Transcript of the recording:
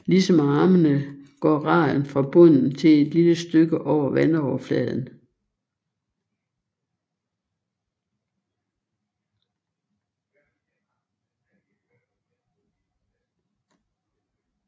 Ligesom armene går raden fra bunden til et lille stykke over vandoverfladen